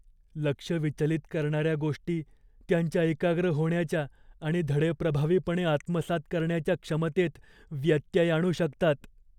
लक्ष विचलित करणाऱ्या गोष्टी त्यांच्या एकाग्र होण्याच्या आणि धडे प्रभावीपणे आत्मसात करण्याच्या क्षमतेत व्यत्यय आणू शकतात.